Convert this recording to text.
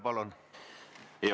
Palun!